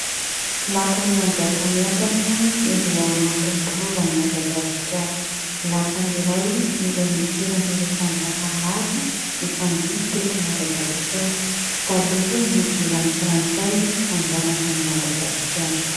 Lapan'i Manjakamiadana izay ao anatin'ny rovan'i Madagasikara. Lapa iray izay nitoeran'ireo mpanjaka maro mifandimby teto Madagasikara talohan'ny nidiran'ny frantsay hanjanaka an'i Madagasikara.